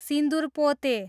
सिन्दुर पोते